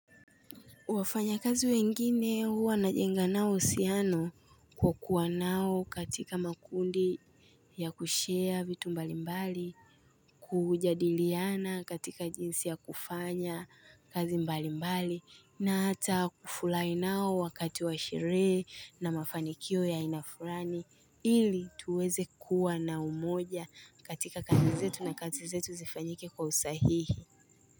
Wafanya kazi wengine huwa na jenga nao uhusiano kwa kuwa nao katika makundi ya kushia vitu mbali mbali kujadiliana katika jinsi ya kufanya kazi mbali mbali na hata kufulai nao wakati wa sherehe na mafanikio ya aina furani ili tuweze kuwa na umoja katika kazi zetu na kazi zetu zifanyike kwa usahihi.